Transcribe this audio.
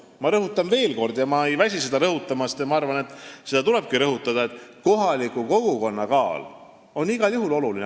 Ma rõhutan veel kord ja ma ei väsi seda rõhutamast – ma arvan, et seda tulebki rõhutada –, et kohaliku kogukonna arvamus on igal juhul oluline.